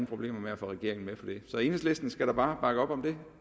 problemer med at få regeringen med på det så enhedslisten skal da bare bakke op om det